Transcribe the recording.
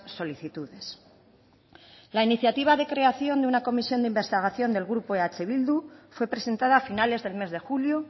solicitudes la iniciativa de creación de una comisión de investigación del grupo eh bildu fue presentada a finales del mes de julio